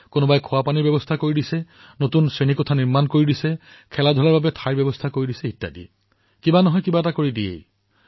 কোনোবাই কম্পিউটাৰ দান কৰে কোনোবাই পুথিভঁৰাল নিৰ্মাণ কৰি দিয়ে কোনোবাই খোৱাপানীৰ সুবিধা প্ৰদান কৰে কোনোবাই ক্ৰীড়া সামগ্ৰী প্ৰদান কৰে